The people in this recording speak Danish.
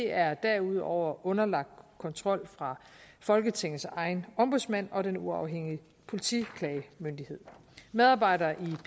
er derudover underlagt kontrol fra folketingets egen ombudsmand og den uafhængige politiklagemyndighed medarbejdere